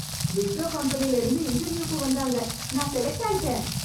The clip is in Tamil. விப்ரோ கம்பெனிலருந்து இருந்து இன்டர்வியூக்கு வந்தாங்க நான் செலக்ட் ஆயிட்டேன்.